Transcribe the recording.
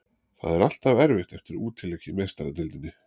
Það er alltaf erfitt eftir útileik í Meistaradeildinni.